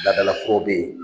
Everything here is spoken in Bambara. Laadala kɔ bɛ ye.